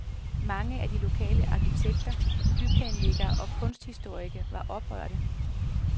Mange af de lokale arkitekter, byplanlæggere og kunsthistorikere var oprørte.